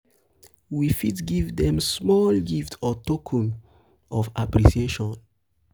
we fit give dem small gift or token token of appreciation